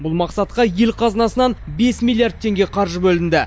бұл мақсатқа ел қазынасынан бес миллиард теңге қаржы бөлінді